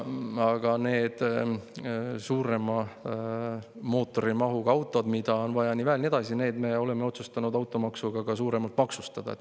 Aga need suurema mootorimahuga autod, mida on vaja väel, ja nii edasi, need me oleme otsustanud automaksuga ka suuremalt maksustada.